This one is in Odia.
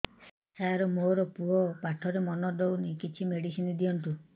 ସାର ମୋର ପୁଅ ପାଠରେ ମନ ଦଉନି କିଛି ମେଡିସିନ ଦିଅନ୍ତୁ